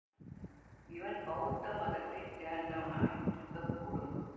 இவன் பௌத்த மதத்தை சேர்ந்தவனாய் இருக்க கூடும்